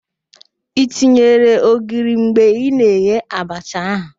I tinyere ogiri mgbe ị na-eghe abacha ahụ?